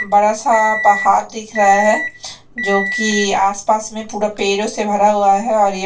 बड़ा सा पहाड़ दिख रहा है जो की आस पास में पूरा पेड़ो से भरा हुआ है और ये--